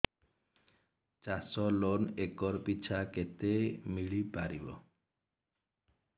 ଚାଷ loan acre ପିଛା କେତେ ମିଳି ପାରିବ